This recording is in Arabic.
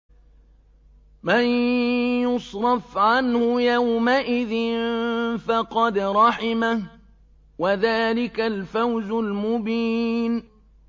مَّن يُصْرَفْ عَنْهُ يَوْمَئِذٍ فَقَدْ رَحِمَهُ ۚ وَذَٰلِكَ الْفَوْزُ الْمُبِينُ